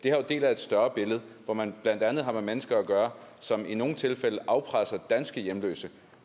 er jo en del af et større billede hvor man blandt andet har med mennesker at gøre som i nogle tilfælde afpresser danske hjemløse